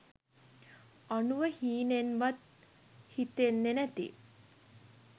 අනුව හීනෙන්වත් හිතෙන්නේ නැති